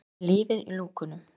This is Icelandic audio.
Með lífið í lúkunum.